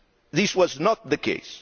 This was not the case